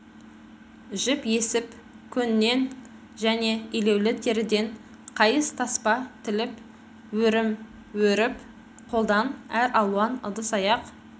жіп есіп көннен және илеулі теріден қайыс таспа тіліп өрім өріп қолдан әр алуан ыдыс-аяқ